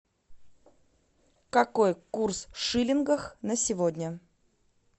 какой курс в шиллингах на сегодня